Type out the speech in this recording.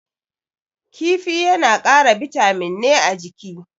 Kifi yana kara bitamin ne a jiki.